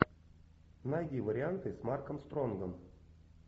найди варианты с марком стронгом